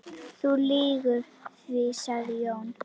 Þú lýgur því, sagði Jón.